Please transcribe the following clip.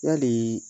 Yali